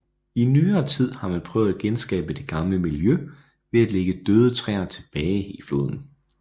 I nyere tid har man prøvet at genskabe det gamle miljø ved at lægge døde træer tilbage i floden